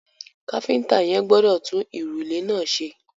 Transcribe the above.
Káfíntà yẹn gbọdọ̀ tun ìrùlé náà ṣe.